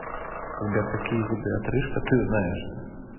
сбер какие виды отрыжка ты знаешь